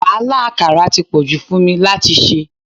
Wàhálà àkàrà ti pọ̀jù fún mi láti ṣe.